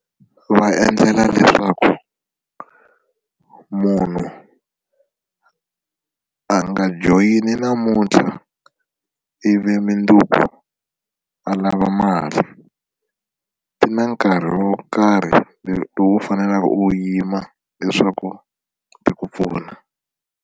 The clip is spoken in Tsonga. Va endlela leswaku munhu a nga joyinI namuntlha ivi mundzuku a lava mali ti na nkarhi wo karhi lowu u faneleke u wu yima leswaku ti ku pfuna.